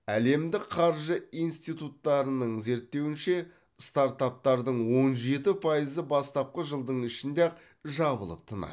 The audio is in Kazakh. әлемдік қаржы институттарының зерттеуінше стартаптардың он жеті пайызы бастапқы жылдың ішінде ақ жабылып тынады